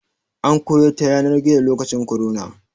An koyar ta yanar gizo lokacin korona.